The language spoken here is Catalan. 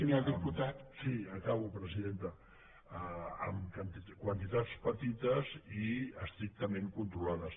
sí acabo presidenta en quantitats petites i estrictament controlades